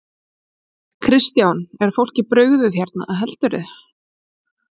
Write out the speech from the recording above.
Kristján: Er fólki brugðið hérna, heldurðu?